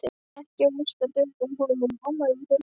Ekki varstu að bjóða honum í afmælið þitt?